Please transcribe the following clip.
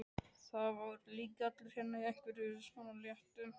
Það voru líka allir hérna í einhverju svona léttu.